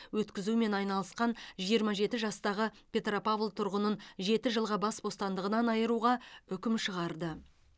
өткізумен айналысқан жиырма жеті жастағы петропавл тұрғынын жеті жылға бас бостандығынан айыруға үкім шығарды